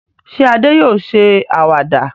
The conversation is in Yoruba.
Ṣé Adé yóò ṣe àwàdà?